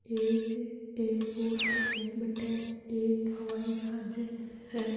एक एरपोर्ट है बठ एक हवाईजाहज है।